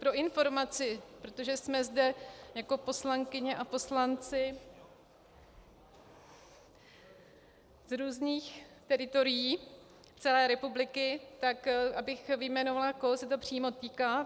Pro informaci, protože jsme zde jako poslankyně a poslanci z různých teritorií celé republiky, tak abych vyjmenovala, koho se to přímo týká.